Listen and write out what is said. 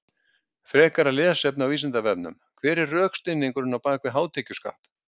Frekara lesefni á Vísindavefnum: Hver er rökstuðningurinn á bak við hátekjuskatt?